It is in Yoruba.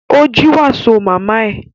Ó jí wàsó màmá ẹ